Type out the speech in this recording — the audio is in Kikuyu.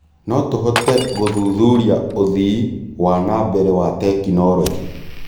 No tũhote gũthuthuria ũthii wa na mbere wa tekinoronjĩ